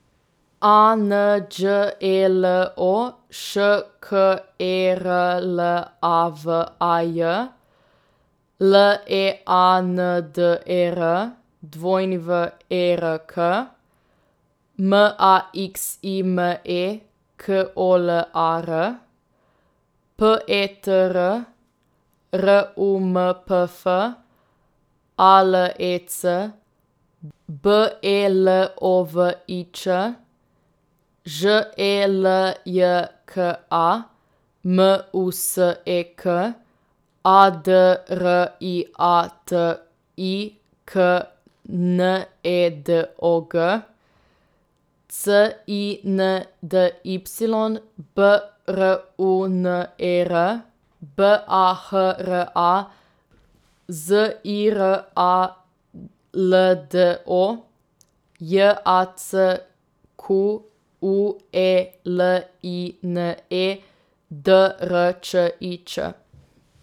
A N Đ E L O, Š K E R L A V A J; L E A N D E R, W E R K; M A X I M E, K O L A R; P E T R, R U M P F; A L E C, B E L O V I Ć; Ž E L J K A, M U S E K; A D R I A T I K, N E D O G; C I N D Y, B R U N E R; B A H R A, Z I R A L D O; J A C Q U E L I N E, D R Č I Č.